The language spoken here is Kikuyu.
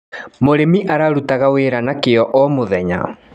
Mũrĩmi ararutaga wĩra na kio o mũthenya.